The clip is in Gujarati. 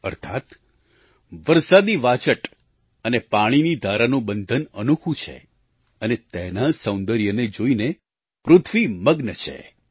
અર્થાત્ વરસાદી વાછટ અને પાણીની ધારાનું બંધન અનોખું છે અને તેના સૌંદર્યને જોઈને પૃથ્વી મગ્ન છે